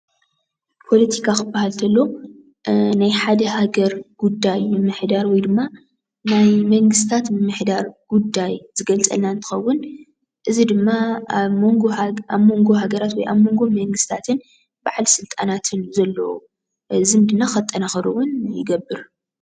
ፖለቲካ ክበሃል ተሎ ናይ ሓደ ሃገር ጉዳይ ምምዳር ወይ ድማ ናይ መንግስታት ምምሕዳር ጉዳይ ዝገልፀልና እንትኸውን እዚ ድማ ኣብ መንጎ ሃገራትን ኣብ መንጎ መንግስታትን ባዓል ስልጣናትን ዘሎ ዝምድና ከጠናኽር ውን ይገብር፡፡